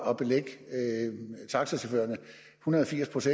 at belægge taxachaufførerne en hundrede og firs